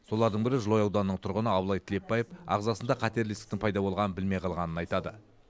солардың бірі жылыой ауданының тұрғыны абылай тілепбаев ағзасында қатерлі ісіктің пайда болғанын білмей қалғанын айтады